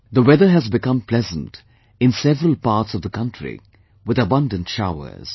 The weather has become pleasant in several parts of the country with abundant showers